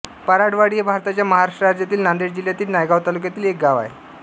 पराडवाडी हे भारताच्या महाराष्ट्र राज्यातील नांदेड जिल्ह्यातील नायगाव तालुक्यातील एक गाव आहे